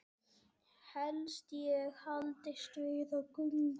Helst ég haldist við á göngu.